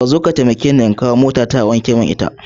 Kazo ka taimakeni in kai motata zuwa wurin wankewar mota akwai kura.